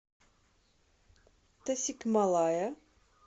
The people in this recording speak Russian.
тасикмалая